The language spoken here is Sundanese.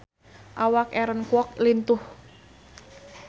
Awak Aaron Kwok lintuh